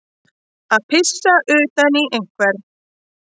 Að pissa utan í einhvern